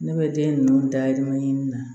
Ne bɛ den ninnu dayirimɛ ɲini na